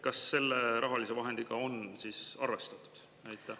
Kas neid rahalisi vahendeid on siis arvestatud?